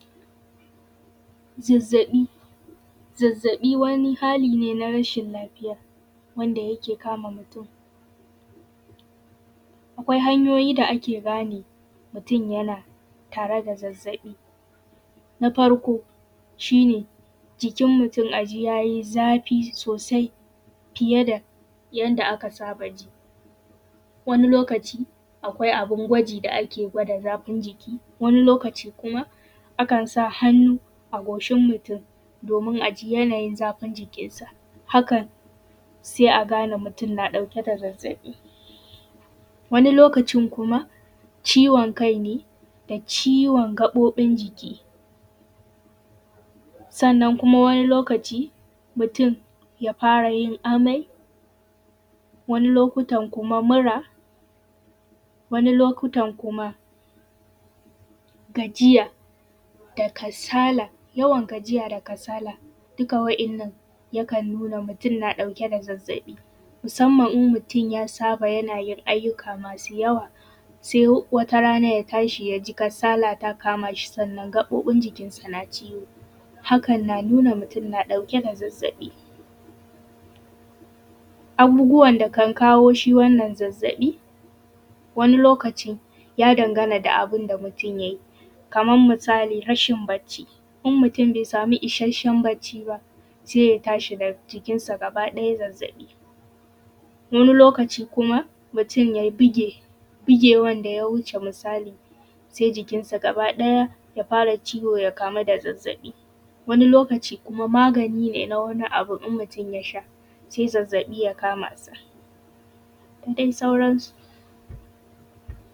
Zazzaɓi wani hali ne na rashin lafiya wanda yake kama mutum, akwai hanyoyi da ake gane mutun yana tare da zazzaɓi, na farko shi ne jikin mutum a ji ya yi zafi sosai fiye da yanda aka saba ji, wani lokaci akwai abin gwaji da ake gwada zafin jiki, wani lokaci kuma akan sa hannu a goshin mutum domin a ji yanayin zafin jikinsa. Hakan sai a gane mutun na ɗauke da zazzaɓi, wani lokacin kuma ciwon kai da ciwon gaɓuɓi, sannan kuma wani lokaci mutum ya fara yin amai, wani lokotan kuma mura, wani lokutan kuma gajiya da kasala duka wa’yannan yakan nuna mutum na ɗauke da zazzaɓi musanman in mutun ya saba yanayin aiki da yawa sai wata rana ya tashi ya ji kasala ta kama shi, ya tashi, ya ji gaɓuɓinsa suna me ciwo, hakan na nuna mutum na ɗauke da zazzaɓi. Abubuwan da kan kawo shi wannan zazzaɓi wani lokaci ya danganta da abin da mutun ya yi kaman misali rashin bacci, in mutun be sama isashshen bacci ba sai ya tashi da jikinsa gabaɗaya zazzaɓi, wani lokaci kuma mutum ya buge bigewanda ya wuce misali se jikinsa gabaɗaya ya kama ciwo sai ya kamu da zazzaɓi, wani lokaci kuma magani ne na wani abun mutum ya sha sai zazzaɓi ya kamasa da dai sauransu.